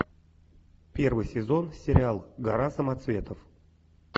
первый сезон сериал гора самоцветов